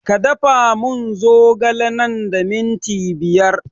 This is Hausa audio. Ka da fa mun zogale nan da minti biyar